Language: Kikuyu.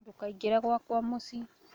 Ndũkaingĩre gwakwa mũciĩ